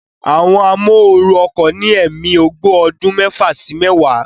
Àwọn amóooru ọkọ̀ ní ẹ̀mí ogbó ọdún mẹ́fà sí mẹ́wàá